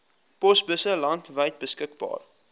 posbusse landwyd beskikbaar